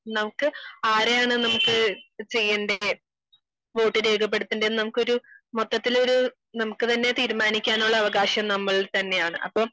നമുക്ക് ആരെയാണ് നമുക്ക് ചെയ്യേൺടെ വോട്ട് രേഖപ്പെടുത്തേണ്ടത് നമുക്ക് ഒരു മൊത്തത്തിൽ ഒരു നമുക്ക് താനേ തീരുമാനിക്കാനുള്ള അവകാശം നമ്മൾ തന്നെയാണ് അപ്പൊ